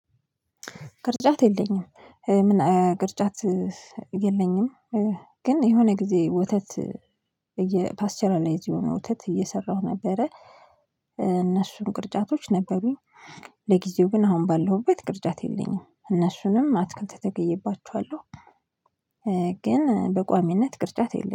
ቅርጫት የለኝም ምን ቅርጫት የለኝም። ግን የሆነ ጊዜ ወተት የፓስቸራላይዝ የሆነ ወተት እየሰራሁ ነበረ። እነሱን ቅርጫቶች ነበሩኝ። ለጊዜው ግን አሁን ባለሁበት ቅርጫት የለኝም እነሱንም አትክልት ተክዬባቸዋለሁ። ግን በቋሚነት ቅርጫት የለም